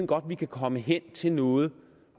godt vi kan komme hen til noget